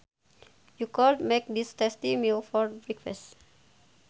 You could make this tasty meal for breakfast